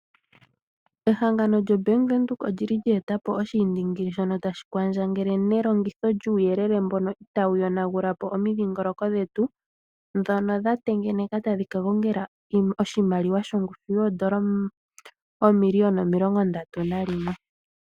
Ehangano lyoBank Windhoek olyi li lya eta po oshiindingili shono tashi kwandjangele nelongitho lyuuyelele mbono itawu yonagula po omidhingoloko dhetu, ndhono dha tengeneka tadhi ka gongela oshimaliwa shongushu yoondola oomiliyona omilongo ndatu nayimwe.